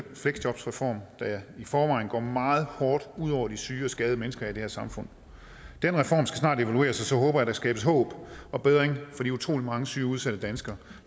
fleksjobreform der i forvejen går meget hårdt ud over de syge og skadede mennesker i det her samfund den reform skal snart evalueres og så håber jeg at der skabes håb og forbedring for de utrolig mange syge udsatte danskere